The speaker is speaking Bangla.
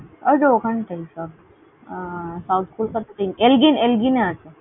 ওইজো ওখান তাই তো। আহ south কলকাতা তেই। Elgin, Elgin এ আছে।